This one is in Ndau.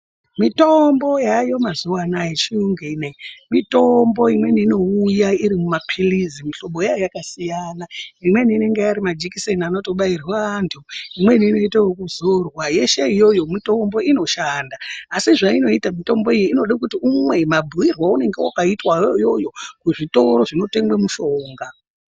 Mitombo yayo mazuva anaya yechiyungu inoiyo mitombo imweni inouya iri mumaphirizi mihlobo yayo yakasiyana. Imweni inongairi majekiseni anotobairwa antu, imweni inoitwa yekuzorwa yeshe iyoyo mitombo inoshanda. Asi zvainoita inoda kuti umwe mabhuirwe anononga vakaitwa iyoyo kuzvitoro zvinotengwe mushonga.